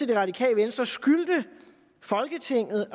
det radikale venstre skylder folketinget